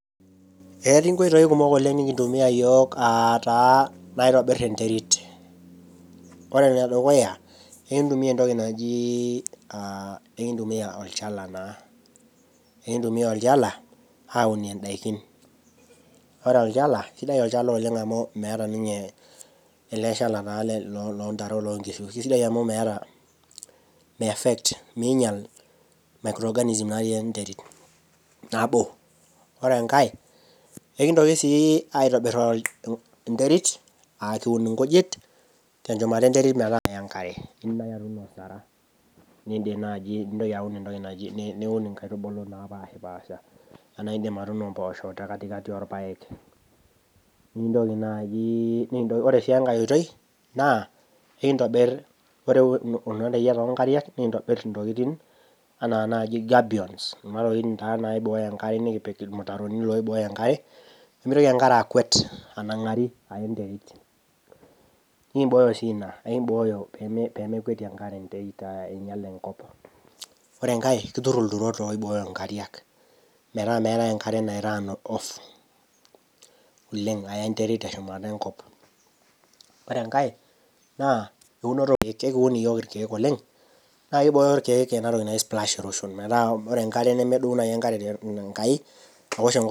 Etii nkoitoi kumok oleng nikintumia yiok ataa naitobir enterit , ore enedukuya enkitumia entoki naji ,enkimia olchala naa , enkintumia olchala aunie ndaikin, ore olchala sidai olchala oleng amu meeta ninye eleshala lontare oloonkishu , kisidai amu meeta , miaffect, minyial micro organism natii enterit, nabo . Ore enkae enkitoki sii aitobir enterit , nikun inkujit tenchumata enterit metaa meya enkare , nindim naji niun entoki naji, niun nkaitubulu napashpasha , anaa indim atuuno mposho tekatikati orpaek .Nintoki naji , ore sii enkae oitoi naa enkintobir , ore kuna reyieta onkariak nikintobir ntokitin anaa naji gabbions wuejitin naa naiboyo enkare , nikipik irmutaroni loiboyo enkare pemitoki enkare akwet anangari aya enterit , nikimboyo sii ina , nikimbooyo pemekwetie enkare enterit ainyial enkop , ore enkae kitur ilturot oiboyo nkariak metaa meetae enkare nairun off aya enterit teshumata enkop . Ore enkae eunoto orkiek , ekiun iyiok irkek oleng ,naa kibboyo irkiek enatoki naji splash erosion metaa ore enkare nemedou nai enkare tenkai aosh enkop.